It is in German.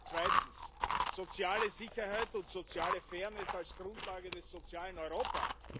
Zweitens Soziale Sicherheit und soziale Fairness als Grundlage des sozialen Europa.